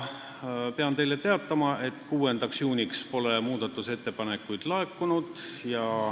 Pean teile teatama, et 6. juuniks pole muudatusettepanekuid laekunud.